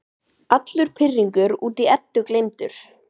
Allur pirringur út í Eddu gleymdur.